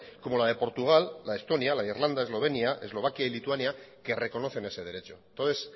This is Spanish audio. como la de portugal la de estonia la de irlanda eslovenia eslovaquia y lituania que reconocen ese derechos entonces